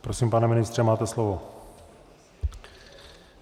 Prosím, pane ministře, máte slovo.